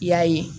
I y'a ye